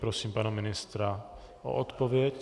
Prosím pana ministra o odpověď.